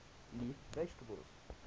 leaf vegetables